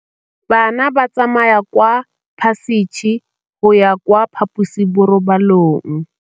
Bana ba tsamaya ka phašitshe go ya kwa phaposiborobalong.